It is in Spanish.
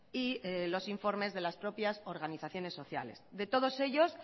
y los informes de las propias organizaciones sociales de todos ellos